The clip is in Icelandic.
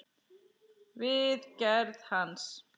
við gerð hans.